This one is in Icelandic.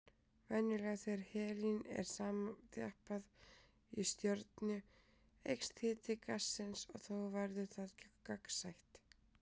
Venjulega þegar helín er samþjappað í stjörnu eykst hiti gassins og þá verður það gagnsætt.